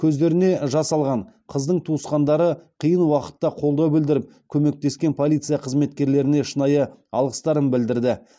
көздеріне жас алған қыздың туысқандары қиын уақытта қолдау білдіріп көмектескен полиция қызметкерлеріне шынайы алғыстарын білдірді